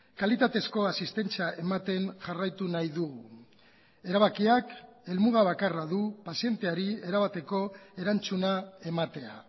kalitatezko asistentzia ematen jarraitu nahi dugu erabakiak helmugabakarra du pazienteari erabateko erantzuna ematea